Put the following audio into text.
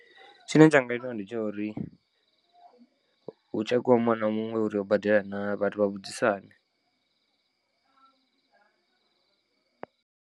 Tshine tsha nga itea ndi tsha uri hu tshekhiwe muṅwe na muṅwe uri o badela na vhathu vha vhudzisane.